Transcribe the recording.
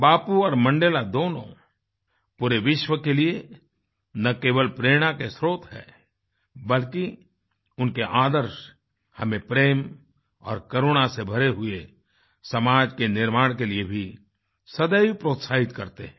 बापू और मंडेला दोनों पूरे विश्व के लिए ना केवल प्रेरणा के स्रोत हैं बल्कि उनके आदर्श हमें प्रेम और करुणा से भरे हुए समाज के निर्माण के लिए भी सदैव प्रोत्साहित करते हैं